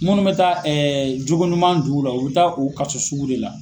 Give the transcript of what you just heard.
Munnu bɛ taa jogo ɲuman d'ula, u bɛ taa u kaso sugu de la.